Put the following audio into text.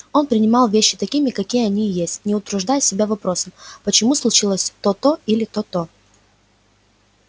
он принимал вещи такими как они есть не утруждая себя вопросом почему случилось то то или то то